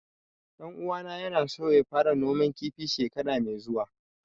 Ɗan uwana ya na so ya fara noman kifi shekara mai zuwa